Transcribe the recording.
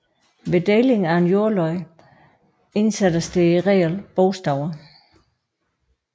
Ved deling af en jordlod indsættes der i reglen bogstaver